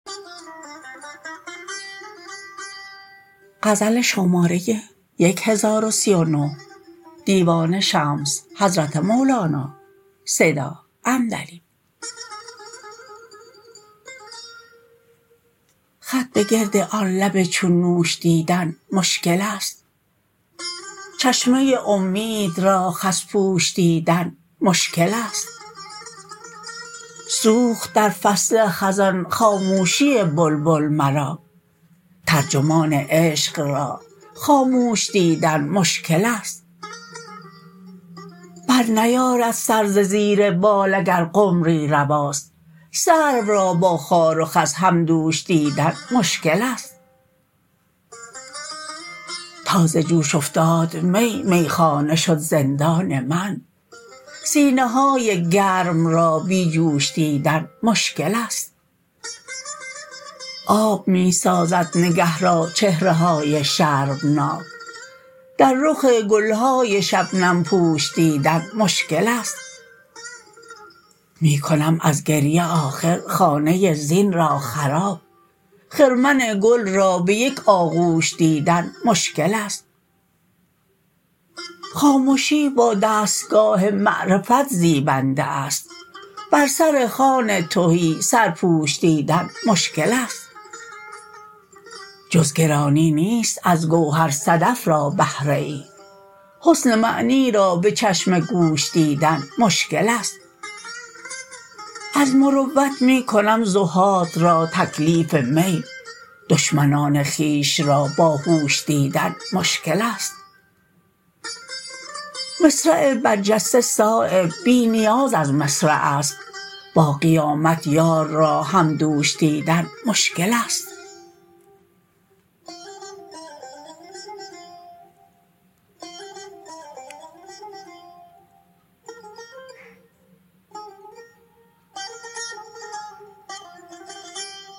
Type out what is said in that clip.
خط به گرد آن لب چون نوش دیدن مشکل است چشمه امید را خس پوش دیدن مشکل است سوخت در فصل خزان خاموشی بلبل مرا ترجمان عشق را خاموش دیدن مشکل است برنیارد سر ز زیر بال اگر قمری رواست سرو را با خار و خس همدوش دیدن مشکل است تا ز جوش افتاد می میخانه شد زندان من سینه های گرم را بی جوش دیدن مشکل است آب می سازد نگه را چهره های شرمناک در رخ گلهای شبنم پوش دیدن مشکل است می کنم از گریه آخر خانه زین را خراب خرمن گل را به یک آغوش دیدن مشکل است خامشی با دستگاه معرفت زیبنده است بر سر خوان تهی سرپوش دیدن مشکل است جز گرانی نیست از گوهر صدف را بهره ای حسن معنی را به چشم گوش دیدن مشکل است از مروت می کنم زهاد را تکلیف می دشمنان خویش را باهوش دیدن مشکل است مصرع برجسته صایب بی نیاز از مصرع است با قیامت یار را همدوش دیدن مشکل است